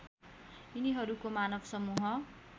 यिनीहरूको मानव समुह